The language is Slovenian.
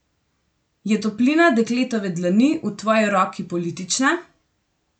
Je toplina dekletove dlani v tvoji roki politična?